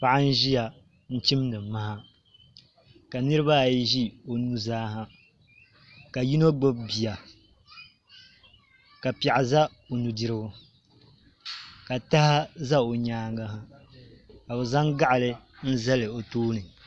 Paɣa n ʒiya n chimdi maha ka nirabaayi ʒi o nuzaa ha ka yino gbubi bia ka piɛɣu ʒɛ o nudirigu ka taha ʒɛ o nyaanga ha ka bi zaŋ gaɣa zali o tooni